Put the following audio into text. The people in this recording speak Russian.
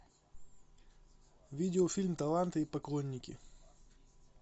видеофильм таланты и поклонники